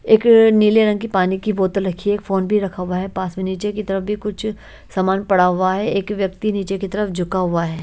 एक नीले रंग की पानी की बोतल रखी है एक फोन भी रखा हुआ है पास में नीचे की तरफ भी कुछ सामान पड़ा हुआ है एक व्यक्ति नीचे की तरफ झुका हुआ है।